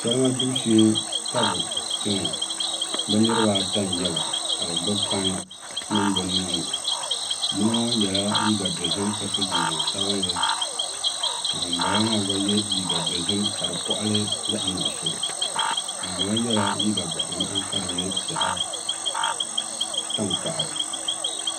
Salima gbibu shee ka bi biɛ ŋo bi niraba ata n nyɛba ka bi gbubi pai nim bi nuhini yino ŋo yɛla liiga dozim ka so jinjɛm sabinli ka ŋun bala maa gba yɛ liiga dozim ka di koɣali zaɣ nuɣso ŋunbala yɛla liiga boɣa ŋmahi ka di nyɛ zaɣ tankpaɣu